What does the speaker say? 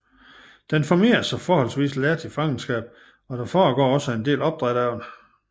Den formerer sig forholdsvis let i fangenskab og der foregår en del opdræt af den